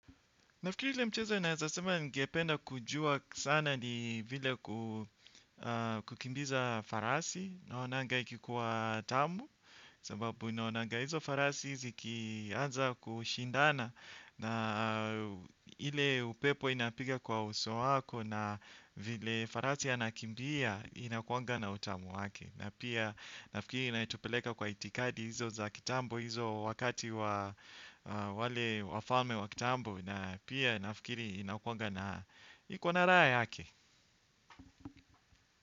Nafikiri ile mchezo naeza sema ningependa kujua sana ni vile kukimbiza farasi naonanga ikikuwa tamu sababu naonanga hizo farasi zikianza kushindana na ile upepo inapiga kwa uso wako na vile farasi yanakimbia inakuanga na utamu wake. Na pia nafikiri inatupeleka kwa itikadi hizo za kitambo, hizo wakati wa wale wafalme wa kitambo. Na pia nafikiri inakuanga na iko na raha yake.